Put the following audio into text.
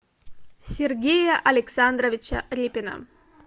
сергея александровича репина